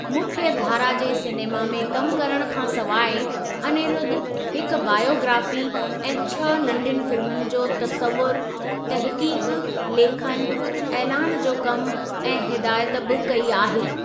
मुख्यधारा जे सिनेमा में कमु करणु खां सवाइ,, अनिरुद्ध हिकु बायोग्राफ़ी ऐं छह नंढियुनि फिल्मुनि जो तसस्वुर, तहक़ीक़ु, लेखनु, ऐलानु जो कमु ऐं हिदायत बि कई आहे।